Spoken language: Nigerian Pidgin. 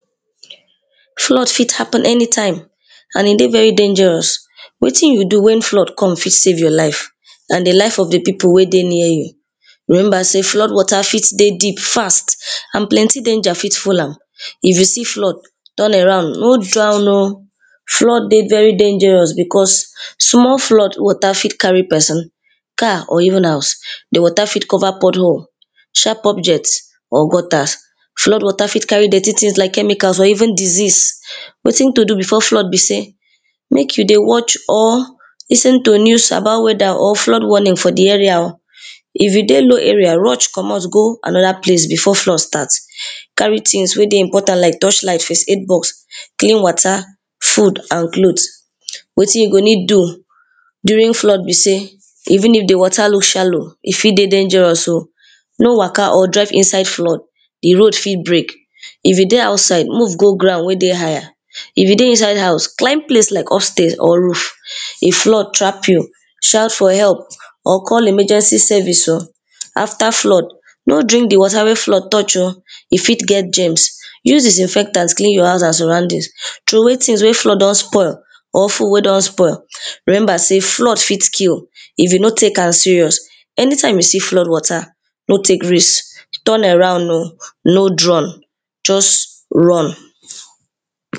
Flood fit happen anytime and e dey very dangerous, wetin you do wen flood come fit safe your life and di life of di pipu wey dey near you. Remember sey flood water fit dey deep fast and plenty danger fit full am, if you see flood turn around no drown oh flood dey very dangerous becos small flood water fit carry pesin, car or even house, di water fit cover pot hole, sharp objects or gutter. Flood water fit carry tins like chemical or even disease, wetin to do before flood be sey make you dey watch or lis ten to news about weather or flood warning for di area oh, if you dey no area rush comot go anoda place before flood start, carry tins wey dey important like touch light, first aid box, clean water, food and clothes. Wetin you go need do during flood be sey even if di water look shallow e fit dey dangerous oh, no waka or jump inside flood, di road fit break if you dey outside move go ground wey dey higher, if you dey inside house climb place like upstairs or roof, if flood trap you shout for help or call emergency service oh after flood no drink di water wey flood touch oh e fit get germs use disinfectant clean your house and surroundings, throway tins wey flood don spoil or food wey don spoil remember sey flood fit kill, if you no take am serious, anytime you see flood water no take risks turn around oh no drown just run.